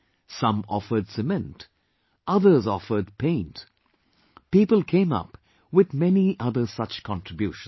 Some offered cement; others offered paint... people came up with many other such contributions